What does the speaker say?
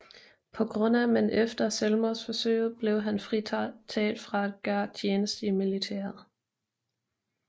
På grund af men efter selvmordsforsøget blev han fritaget fra at gøre tjeneste i militæret